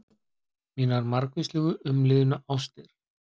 Mínar margvíslegu umliðnu ástir.